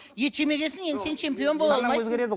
ет жемеген соң енді сен чемпион бола алмайсың